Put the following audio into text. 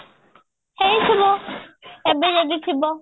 ହେଇଥିବ ଏବେ ଯଦି ଥିବ